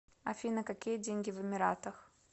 афина какие деньги в эмиратах